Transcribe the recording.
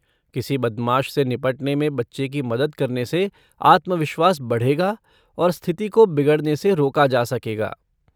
किसी बदमाश से निपटने में बच्चे की मदद करने से आत्मविश्वास बढ़ेगा और स्थिति को बिगड़ने से रोका जा सकेगा।